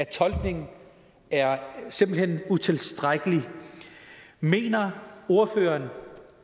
tolkningen simpelt hen er utilstrækkelig mener ordføreren